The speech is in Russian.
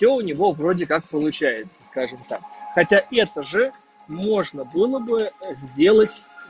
то у него вроде как получается скажем так хотя это же можно было бы сделать